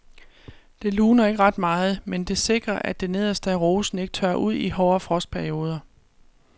Det luner ikke ret meget, men det sikrer at det nederste af rosen ikke tørrer ud i hårde frostperioder.